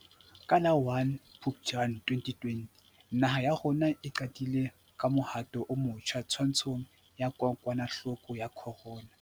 Ka la 01 Phuptjane 2020 naha ya rona e qadile ka mohato o motjha twantshong ya kokwanahloko ya corona.